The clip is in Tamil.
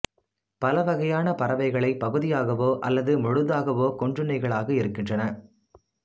பல வகையான பறவைகளை பகுதியாகவோ அல்லது முழுதாகவோ கொண்றுண்ணிகளாக இருக்கின்றன